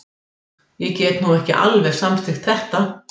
Ég get nú ekki alveg samþykkt þetta.